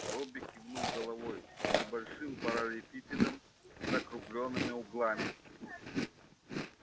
робби кивнул головой небольшим параллелепипедом с закруглёнными углами